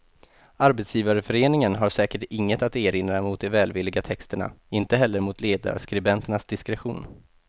Arbetsgivarföreningen har säkert inget att erinra mot de välvilliga texterna, inte heller mot ledarskribenternas diskretion.